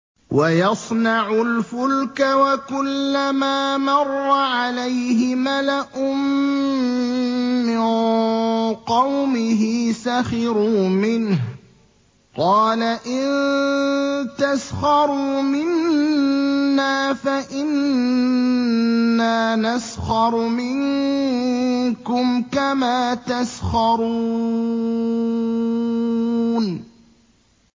وَيَصْنَعُ الْفُلْكَ وَكُلَّمَا مَرَّ عَلَيْهِ مَلَأٌ مِّن قَوْمِهِ سَخِرُوا مِنْهُ ۚ قَالَ إِن تَسْخَرُوا مِنَّا فَإِنَّا نَسْخَرُ مِنكُمْ كَمَا تَسْخَرُونَ